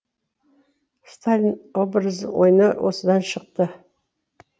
сталин образын ойнау осыдан шықты